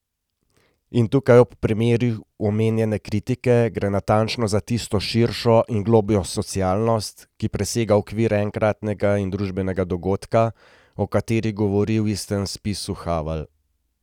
In tukaj, ob primeru omenjene kritike, gre natančno za tisto širšo in globljo socialnost, ki presega okvir enkratnega družbenega dogodka, o kateri govori v istem spisu Havel.